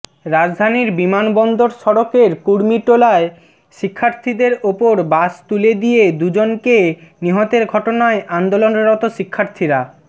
রাজধানীর বিমানবন্দর সড়কের কুর্মিটোলায় শিক্ষার্থীদের ওপর বাস তুলে দিয়ে দুজনকে নিহতের ঘটনায় আন্দোলনরত শিক্ষার্থীরা